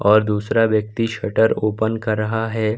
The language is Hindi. और दूसरा व्यक्ति शटर ओपन कर रहा है।